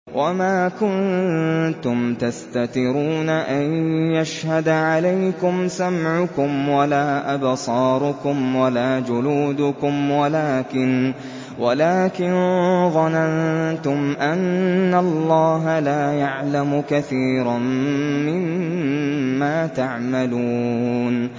وَمَا كُنتُمْ تَسْتَتِرُونَ أَن يَشْهَدَ عَلَيْكُمْ سَمْعُكُمْ وَلَا أَبْصَارُكُمْ وَلَا جُلُودُكُمْ وَلَٰكِن ظَنَنتُمْ أَنَّ اللَّهَ لَا يَعْلَمُ كَثِيرًا مِّمَّا تَعْمَلُونَ